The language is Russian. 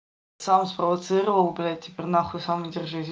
сам спровоцировал блядь теперь на хуй сам и держись